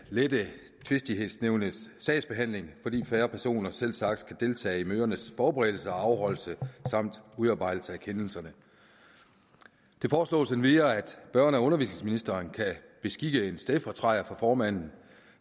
tvistighedsnævnets sagsbehandling blive fordi færre personer selvsagt skal deltage i mødernes forberedelse og afholdelse samt udarbejdelse af kendelserne det foreslås endvidere at børne og undervisningsministeren kan beskikke en stedfortræder for formanden